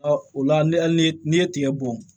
o la ne hali ni n'i ye tigɛ bɔn